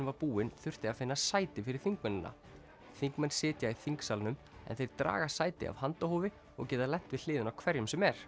var búin þurfti að finna sæti fyrir þingmennina þingmenn sitja í þingsalnum en þeir draga sæti af handahófi og geta lent við hliðina á hverjum sem er